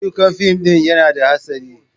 Ayyukan fim ɗin yana da hastari.